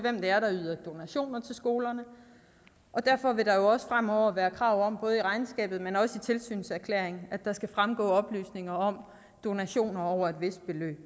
skolerne derfor vil der også fremover være krav om både i regnskabet men også i tilsynserklæringen at der skal fremgå oplysninger om donationer over et vist beløb